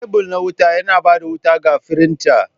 Kebul na wuta yana ba da wuta ga firinta.